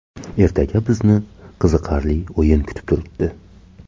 Ertaga bizni qiziqarli o‘yin kutib turibdi.